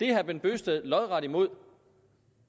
herre bent bøgsted lodret imod